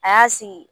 A y'a sigi